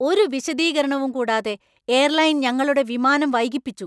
ഒരു വിശദീകരണവും കൂടാതെ എയർലൈൻ ഞങ്ങളുടെ വിമാനം വൈകിപ്പിച്ചു.